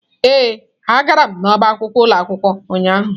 Ee, agara m n'ọbá akwụkwọ ụlọ akwụkwọ ụnyahụ.